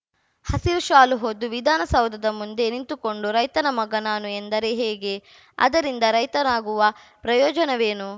ಹಸಿರು ಶಾಲು ಹೊದ್ದು ವಿಧಾನಸೌಧದ ಮುಂದೆ ನಿಂತುಕೊಂಡು ರೈತನ ಮಗ ನಾನು ಎಂದರೆ ಹೇಗೆ ಅದರಿಂದ ರೈತರಾಗುವ ಪ್ರಯೋಜವೇನು